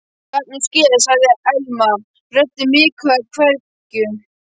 Gat nú skeð- sagði Elma, röddin myrkvuð af kergju.